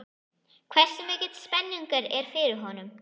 Hversu mikil spenningur er fyrir honum?